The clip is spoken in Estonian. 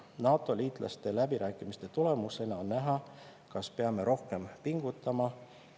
NATO‑liitlastega läbirääkimiste tulemusena on näha, kas peame rohkem pingutama.